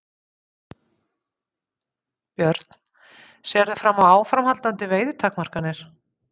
Björn: Sérðu fram á áframhaldandi veiðitakmarkanir?